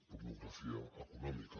pornografia econòmica